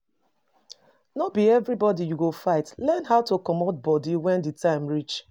No be everybody you go fight, learn how to comot body when di time reach